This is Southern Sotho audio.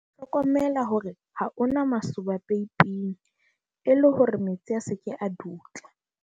hlokomela hore ha ho na masoba peipeng e le hore metsi a se ke a dutla